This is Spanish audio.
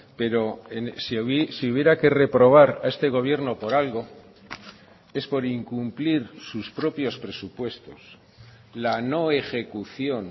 pero si hubiera que reprobar a este gobierno por algo es por incumplir sus propios presupuestos la no ejecución